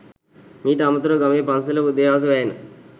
මීට අමතරව ගමේ පන්සලේ උදේ හවස වැයෙන